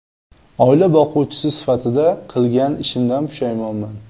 Oila boquvchisi sifatida qilgan ishimdan pushaymonman.